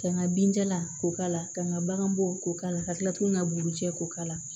Ka n ka binjalan k'o k'a la ka n ka bagan bɔ k'o k'a la ka tila k'u ka bugu cɛ ko k'a